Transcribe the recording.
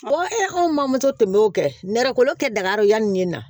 anw ma tun b'o kɛ nɛrɛ kolo kɛ dagaro yanni ne na